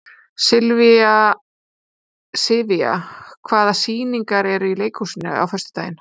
Sivía, hvaða sýningar eru í leikhúsinu á föstudaginn?